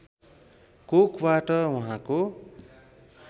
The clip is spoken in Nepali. कोखबाट उहाँको